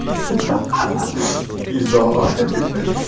ха ха пизда